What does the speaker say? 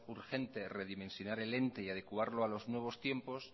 urgente redimensionar el ente y adecuarlo a los nuevos tiempos